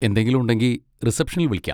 എന്തെങ്കിലും ഉണ്ടെങ്കി, റിസപ്ഷനിൽ വിളിക്കാം.